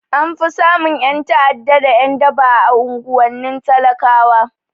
An fi samun ƴan ta'ada da ƴan daba a unguwannin talakawa